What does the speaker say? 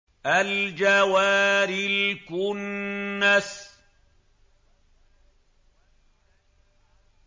الْجَوَارِ الْكُنَّسِ